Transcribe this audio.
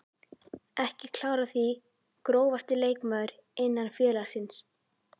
Ekki klár á því Grófasti leikmaður innan félagsins?